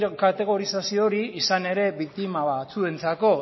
kategorizazio hori izan ere biktima batzuentzako